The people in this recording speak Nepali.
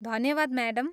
धन्यवाद, म्याडम।